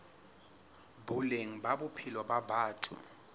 boleng ba bophelo ba batho